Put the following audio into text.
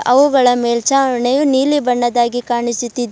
ಅವುಗಳ ಮೇಲ್ಛಾವಣಿಯು ನೀಲಿ ಬಣ್ಣದ್ದಾಗಿ ಕಾಣಿಸುತ್ತಿದೆ.